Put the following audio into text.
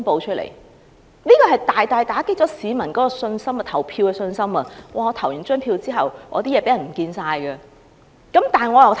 這大大打擊市民投票的信心，因為他們的資料在投票後或會遺失。